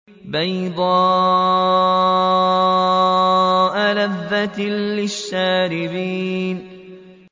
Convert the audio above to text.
بَيْضَاءَ لَذَّةٍ لِّلشَّارِبِينَ